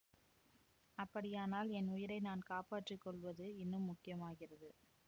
அப்படியானால் என் உயிரை நான் காப்பாற்றி கொள்ளுவது இன்னும் முக்கியமாகிறது